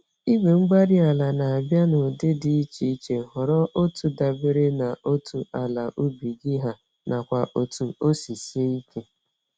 igwe-mgbárí-ala na-abịa n'ụdị dị iche iche; họrọ otu dabere na otú àlà ubi gị ha, nakwa otu osi sie ike